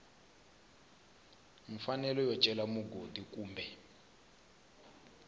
mfanelo yo cela mugodi kumbe